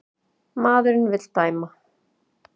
Maðurinn vill dæma.